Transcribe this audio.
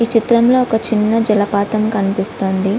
ఈ చిత్రంలో ఒక చిన్న జలపాతం కనిపిస్తుంది.